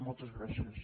moltes gràcies